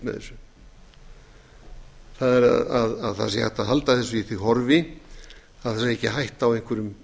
með þessu að hægt sé að halda þessu í því horfi að ekki sé hætta á einhverjum